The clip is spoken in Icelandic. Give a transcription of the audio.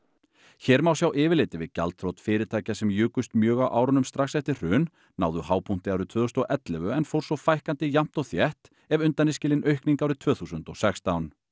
hér má sjá yfirlit yfir gjaldþrot fyrirtækja sem jukust mjög á árunum strax eftir hrun náðu hápunkti árið tvö þúsund og ellefu en fór svo fækkandi jafnt og þétt ef undan er skilin aukning árið tvö þúsund og sextán